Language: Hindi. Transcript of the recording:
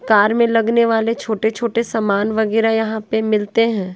कार में लगने वाले छोटे छोटे सामान वगैरा यहां पे मिलते हैं।